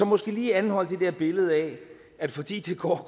måske lige anholde det der billede af at fordi det går